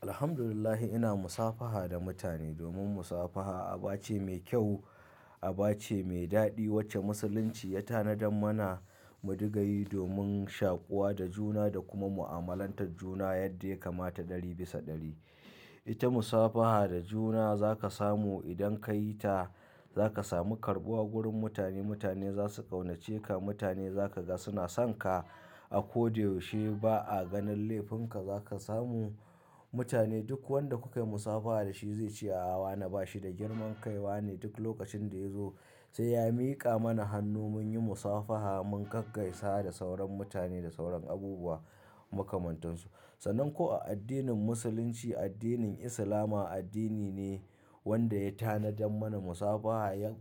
Alhamdulillahi, ina musafaha da mutane domin musafaha aba ce mai kyau, aba ce mai daɗi wacce Musulunci ya tanadar mana mu dingayi domin shakuwa da juna da kuma mu'amalantar juna yadda ya kamata ɗari bisa ɗari. Ita musafaha da juna za ka samu idan ka yi ta za ka samu karɓuwa wurin mutane, mutane za su ƙaunace ka, mutane za ka ga suna son ka a ko da yaushe. Ba a ganin laifin ka za ka samu mutane duk wanda kuka yi musafaha da shi zai ce, "Aawa na ba shi da girman kai wa ne duk lokacin da ya zo." Sai ya miƙa mana hannu mun yi musafaha mun gaggaisa da sauran mutane da sauran abubuwa makamantansu. Sanan ko a addinin Musulunci, addinin Islama addini ne wanda ya tanadar mana musafaha. Ya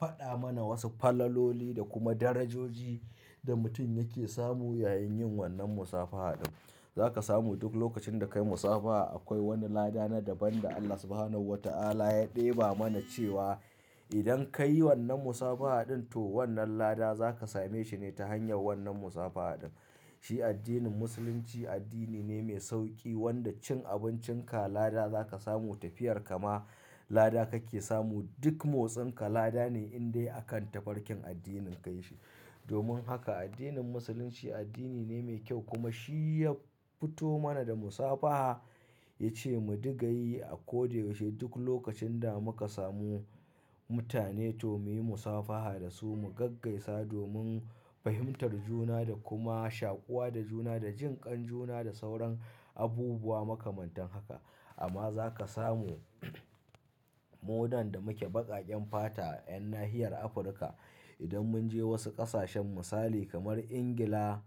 faɗa mana wasu falaloli da kuma darajoji da mutum yake samu yayin yin wannan musafaha ɗin. Za ka samu duk lokacin da ka yi musafaha akwai wani lada na daban da Allah Subhanahu wa Ta'ala ya ɗeba mana cewa idan ka yi wannan musafaha ɗin to wannan lada za ka same shi ne ta hanyar wannan musafaha ɗin. Shi addinin Musulunci addini ne mai sauƙi wanda cin abincinka lada za ka samu, tafiyar ka ma lada kake samu. Duk motsin ka lada ne in dai akan tafarkin addinin ka yake. Domin haka addinin Musulunci addini ne mai kyau kuma shi ya fito mana da musabaha. Ya ce mu digayi a ko da yaushe. Duk lokacin da muka samu mutane to mu yi musafaha da su, mu gaggaisa domin fahimtar juna da kuma shakuwa da juna da jinƙan juna da sauran abubuwa makamantan haka. Amma za ka samu munan da muke baƙaƙen fata 'yan nahiyar Afirka idan mun je wasu ƙasashen misali kamar Ingila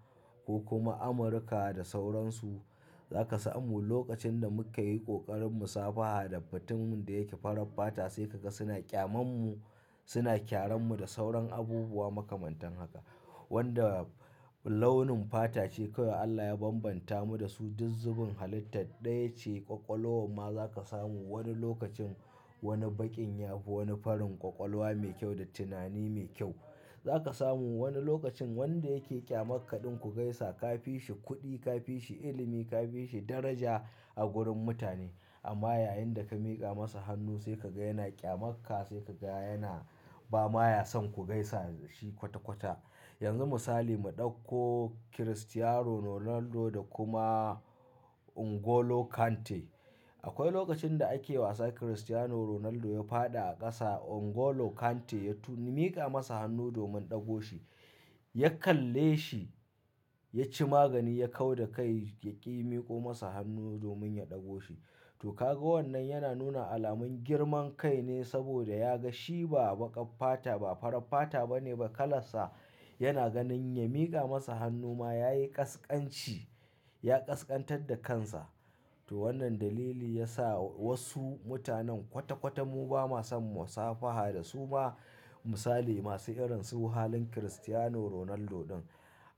ko kuma Amurka da sauran su, za ka samu lokacin da muka yi ƙoƙarin musafaha da fatanmu da yake farar fata sai ka ga suna ƙyamanmu, suna kyaranmu da sauran abubuwa makamantan haka. Wanda launin fata ce kawai Allah ya bambanta mu da su. Duk zubin halitta ɗaya ce, kwakwalwoma za ka samu. Wani lokacin wani baƙin ya fi wani farin kwakwalwa mai kyau da tunani mai kyau. Za ka samu wani lokacin wanda yake ƙyamakka ɗin ku gaisa ka fi shi kuɗi, ka fi shi ilimi, ka fi shi daraja a wurin mutane. Amma yayin da ka miƙa masa hannu sai ka ga yana ƙyamakka, sai ka ga yana ba ma ya son ku gaisa da shi kwata kwata. Yanzu misali mu ɗauko Cristiano Ronaldo da kuma N'Golo Kante. Akwai lokacin da ake wasa Cristiano Ronaldo ya faɗi a ƙasa, N'Golo Kante ya tu-- ya miƙa masa hannu domin ɗago shi. Ya kalle shi, ya ci magani, ya kau da kai, ya ƙi miƙo masa hannu domin ya ɗago shi. To ka ga wannan yana nuna alamun girman kai ne saboda ya ga shi ba baƙar fata, ba farar fata ba ne ba, kalar sa. Yana ganin ya miƙa masa hannu ma yayi ƙasƙanci, ya ƙasƙantar da kansa. To wannan dalili ya sa wasu mutanen kwata kwata mu ba ma son musafaha da su ba. Misali masu irin su halin Cristiano Ronaldo ɗin.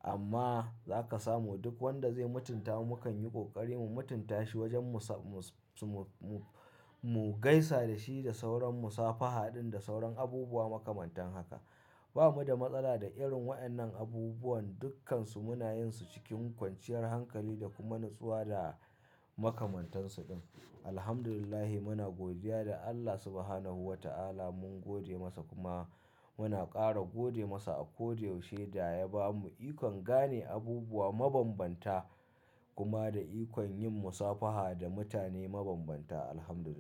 Amma za ka samu duk wanda zai mutunta mu mukan yi ƙoƙari mu mutunta shi wajen musa-mus-su-mu-mu-mu gaisa da shi da sauran musafaha ɗin da sauran abubuwa makamantan haka. Ba mu da matsala da irin waɗannan abubuwan, dukkansu muna yin su cikin kwanciyar hankali da kuma natsuwa da makamantansu ɗin. Alhamdulillahi muna godiya ga Allah Subhanahu wa Ta'ala mun gode masa kuma muna ƙara gode masa a ko da yaushe da ya bamu ikon gane abubuwa mabanbanta kuma da ikon yin musafaha da mutane mabanbanta. Alhamdulillah.